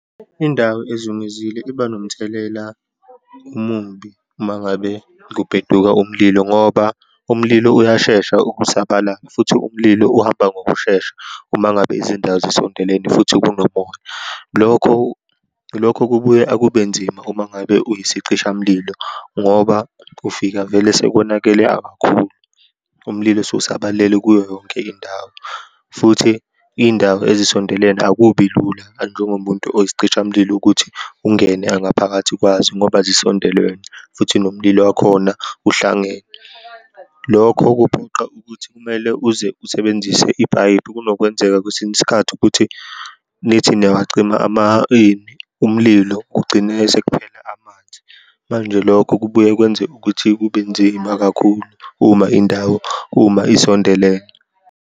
Indawo ezungezile iba nomthelela omumbi uma ngabe kubeduka umlilo, ngoba umlilo uyashesha ukusabalala, futhi umlilo uhamba ngokushesha uma ngabe izindawo zisondelene, futhi kunomoya. Lokho, lokho kubuye akubenzima uma ngabe uyisicishamlilo, ngoba ufika vele sekonakele akakhulu, umlilo sewusabalele kuyo yonke indawo, futhi iy'ndawo ezisondelene, akubi lula, njengomuntu oyisicishamlilo ukuthi ungene angaphakathi kwazo, ngoba zisondelene, futhi nomlilo wakhona uhlangene. Lokho kuphoqa ukuthi kumele uze usebenzise ipayipi. Kunokwenzeka kwesinye isikhathi ukuthi nithi niyawacima ini umlilo, kugcine sekuphela amanzi. Manje lokho kubuye kwenze ukuthi kube nzima kakhulu uma indawo, uma isondelene.